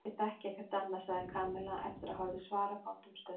Ég þekki ekkert annað sagði Kamilla eftir að hafa orðið svarafátt um stund.